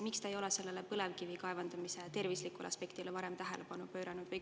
Miks te ei ole põlevkivi kaevandamise terviseaspektile tähelepanu pööranud?